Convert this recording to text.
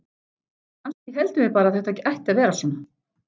Kannski héldum við bara að þetta ætti að vera svona.